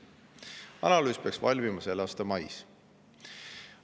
Analüüs peaks valmima selle aasta mais.